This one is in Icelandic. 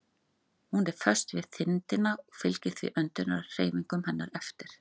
Hún er föst við þindina og fylgir því öndunarhreyfingum hennar eftir.